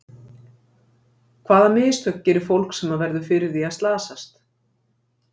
Hvaða mistök gerir fólk sem verður fyrir því að slasast?